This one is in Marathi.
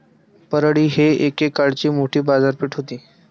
परळी ही एकेकाळची मोठी बाजारपेठ होती.